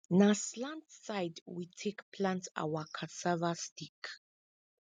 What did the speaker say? na slant side we take plant our cassava stick